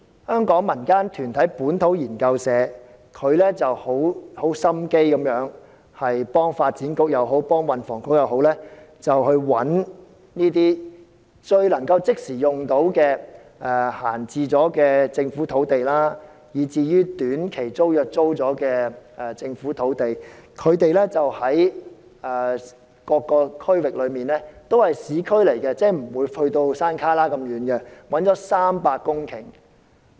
香港一個民間團體本土研究社，用心為發展局或運輸及房屋局找出一些可以即時使用的閒置政府土地，以及一些以短期租約出租的政府土地，這些土地分布各區域，也位於市區範圍而非偏遠地區，他們共找到300公頃土地。